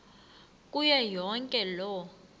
kuyo yonke loo